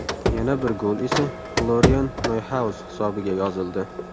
Yana bir gol esa Florian Noyhaus hisobiga yozildi.